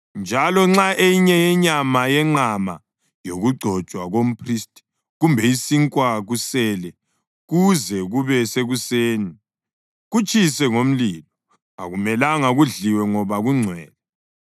Njalo nxa eyinye yenyama yenqama yokugcotshwa komphristi kumbe isinkwa kusele kuze kube sekuseni, kutshise ngomlilo. Akumelanga kudliwe ngoba kungcwele.